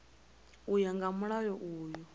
u ya nga mulayo uyu